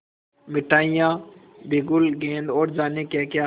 मिठाइयाँ बिगुल गेंद और जाने क्याक्या